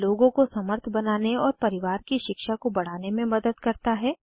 यह लोगों को समर्थ बनाने और परिवार की शिक्षा को बढ़ाने में मदद करता है